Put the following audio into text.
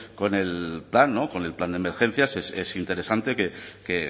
con el con el plan con el plan de emergencias es interesante que